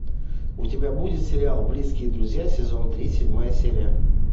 у тебя будет сериал близкие друзья сезон три седьмая серия